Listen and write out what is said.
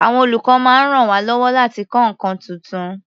Àwọn olùkọ́ máa ń ràn wá lọ́wọ́ láti kọ́ nǹkan tuntun.